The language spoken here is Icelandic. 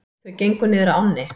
Þau gengu niður að ánni.